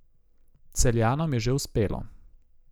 Celjanom je že uspelo.